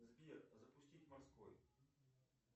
сбер запустить морской